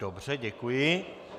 Dobře, děkuji.